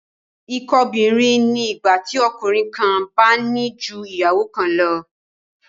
Ìkóbìnrin ni ìgbà tí ọkùnrin kan bá ní ju ìyàwó kan lọ